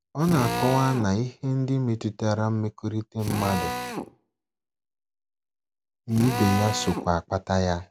Ọ na - akọwa na ihe ndị metụtara mmekọrịta mmadụ na ibe ya sokwa akpata ya.